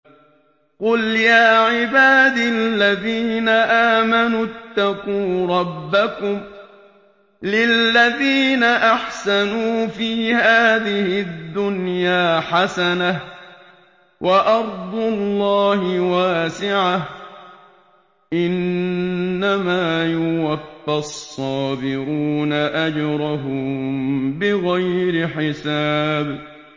قُلْ يَا عِبَادِ الَّذِينَ آمَنُوا اتَّقُوا رَبَّكُمْ ۚ لِلَّذِينَ أَحْسَنُوا فِي هَٰذِهِ الدُّنْيَا حَسَنَةٌ ۗ وَأَرْضُ اللَّهِ وَاسِعَةٌ ۗ إِنَّمَا يُوَفَّى الصَّابِرُونَ أَجْرَهُم بِغَيْرِ حِسَابٍ